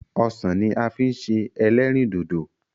Osan la fi n se elerindodo